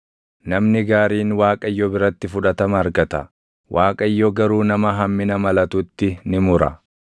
Namni gaariin Waaqayyo biratti fudhatama argata; Waaqayyo garuu nama hammina malatutti ni mura.